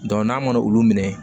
n'an mana olu minɛ